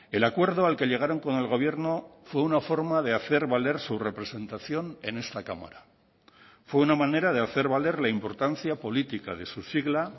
el acuerdo al que llegaron con el gobierno fue una forma de hacer valer su representación en esta cámara fue una manera de hacer valer la importancia política de su sigla